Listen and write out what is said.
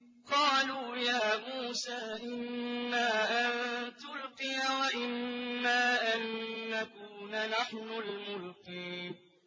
قَالُوا يَا مُوسَىٰ إِمَّا أَن تُلْقِيَ وَإِمَّا أَن نَّكُونَ نَحْنُ الْمُلْقِينَ